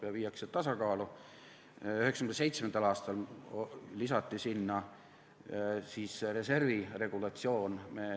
1997. aastal lisati sinna reservi regulatsioon.